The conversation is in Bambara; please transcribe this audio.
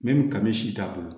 ni kami si t'a bolo